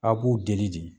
Aw b'u deli de